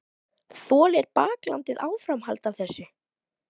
Þolir baklandið áframhald af þessu?